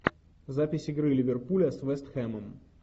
запись игры ливерпуля с вест хэмом